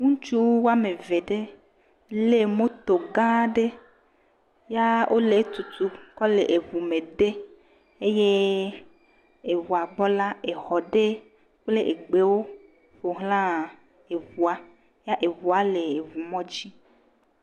Ŋutsu wɔme eve aɖe le moto gã aɖe ya wo e etutum kɔ le eŋu me dem eye eŋua gbɔ la exɔ ɖe kple egbewo ƒoxla eŋua ya eŋua le eŋumɔdzi.